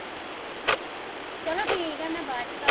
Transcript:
ਚਲੋ ਠੀਕ ਐ ਮੈਂ ਬਾਦ ਚ ਕਰਦੀ ਆ